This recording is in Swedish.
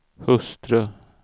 hustru